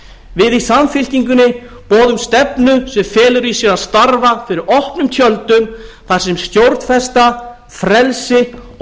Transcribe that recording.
við í samfylkingunni boðum stefnu sem felur í sér að starfa fyrir opnum tjöldum þar sem stjórnfesta frelsi og